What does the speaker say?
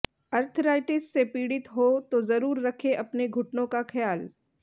arthritis से पीड़ित हों तो जरूर रखें अपने घुटनों का ख्याल